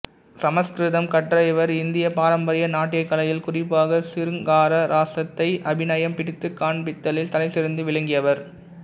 சமசுகிருதம் கற்ற இவர் இந்தியப் பாரம்பரிய நாட்டியக் கலையில் குறிப்பாக சிருங்கார ரசத்தை அபிநயம் பிடித்துக் காண்பித்தலில் தலைசிறந்து விளங்கியவர்